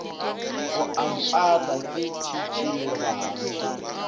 o a mpata ke tšhitšhilelang